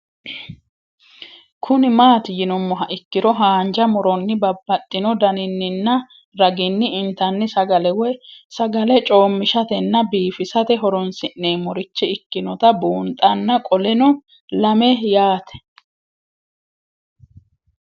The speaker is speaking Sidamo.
Kuni mati yinumoha ikiro hanja muroni babaxino daninina ragini intani sagale woyi sagali comishatenna bifisate horonsine'morich ikinota bunxana qoleno lame yaate